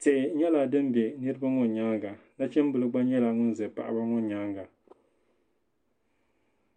tihi nyala din be niribi ŋɔ nyaa ŋa nachimbili gba nyɛla ŋun za paɣi ŋɔ nyaaŋa.